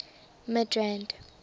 midrand